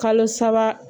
Kalo saba